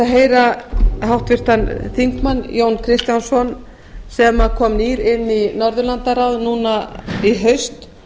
heyra háttvirtan þingmann jón kristjánsson sem kom nýr inn í norðurlandaráð núna í haust